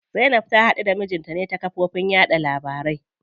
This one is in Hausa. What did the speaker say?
Zainab ta haɗu da mijinta ne ta kafofin yaɗa labarai.